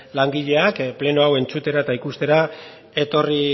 langileak pleno hau entzutera eta ikustera etorri